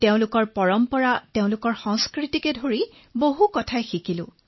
তেওঁলোকৰ পৰম্পৰা তেওঁলোকৰ সংস্কৃতি আদি এনে ধৰণৰ বহু কথা শিকিলো